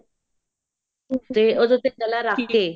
ਤੇ ਉਹਦੇ ਉੱਪਰ ਗਲਾ ਰੱਖ ਕੇ